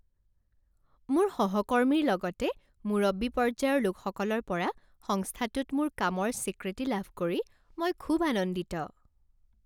মোৰ সহকৰ্মীৰ লগতে মুৰব্বী পৰ্যায়ৰ লোকসকলৰ পৰা সংস্থাটোত মোৰ কামৰ স্বীকৃতি লাভ কৰি মই খুব আনন্দিত।